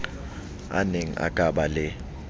aneng a ka ba le